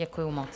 Děkuju moc.